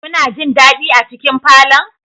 Kuna jin dadi a cikin falon?